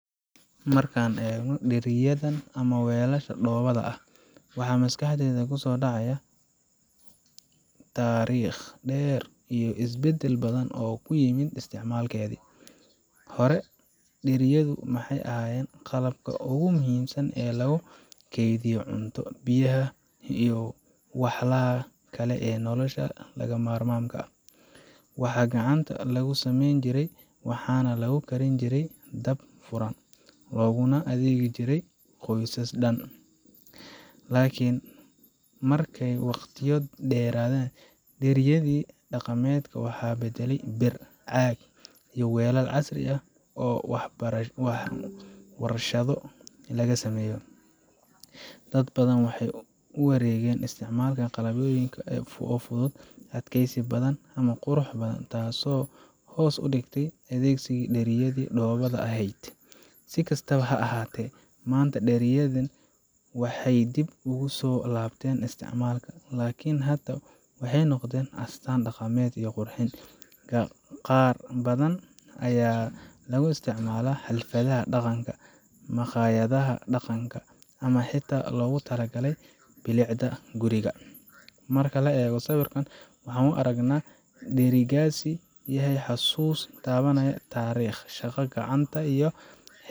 Markaan eegno dheriyadan ama weelasha dhoobada ah, waxaa maskaxda ku soo dhacaya taariikh dheer iyo isbeddel badan oo ku yimid isticmaalkeeda. Hore, dheriyadu waxay ahayd qalabka ugu muhiimsan ee lagu kaydiyo cunto, biyaha iyo walxaha kale ee nolosha lagama maarmaanka u ah. Waxaa gacanta lagu samayn jiray, waxaana lagu karin jiray dab furan, looguna adeegi jiray qoysas dhan. Laakiin markay waqtiyo dheeraadaan, dheriyadii dhaqameed waxaa beddelay bir, caag, iyo weelal casri ah oo warshado laga sameeyo. Dad badan waxay u wareegeen isticmaalka qalabyo kale oo fudud, adkaysi badan ama qurux badan, taasoo hoos u dhigtay adeegsiga dheriyadii dhoobada ahayd. Si kastaba ha ahaatee, maanta dheriyadan waxay dib ugu soo laabteen isticmaalka laakiin hadda waxay noqdeen astaan dhaqameed iyo qurxin. Qaar badan ayaa lagu isticmaalaa xafladaha dhaqanka, makhaayadaha dhaqanka, ama xitaa loogu talagalay bilicda guriga. Marka la eego sawirka, waxaan aragnaa in dherigaasi yahay xusuus taabanaysa taariikhda, shaqada gacanta, iyo.